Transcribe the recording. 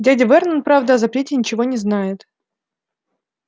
дядя вернон правда о запрете ничего не знает